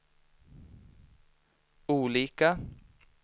olika